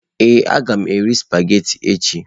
Ee, a ga m eri sụpaghetị echi.